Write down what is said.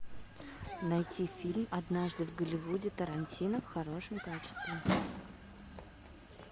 найти фильм однажды в голливуде тарантино в хорошем качестве